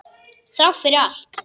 Þrátt fyrir allt.